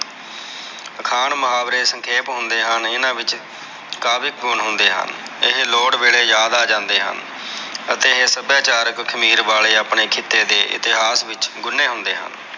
ਅਖਾਣ ਮੁਹਾਵਰੇ ਸੰਖੇਪ ਹੁੰਦੇ ਹਨ ਇਹਨਾਂ ਵਿਚ ਕਾਵਿਕ ਗੁਣ ਹੁੰਦੇ ਹਨ ਇਹ ਲੋੜ ਵੇਲੇ ਯਾਦ ਆਜਾਂਦੇ ਹਨ ਅਤੇ ਇਹ ਸਬਯਾਚਾਰਕ ਖ਼ਮੀਰ ਵਾਲੇ ਖਿੱਤੇ ਦੇ ਇਤਿਹਾਸ ਵਿਚ ਗੁਣੇ ਹੁੰਦੇ ਹਨ।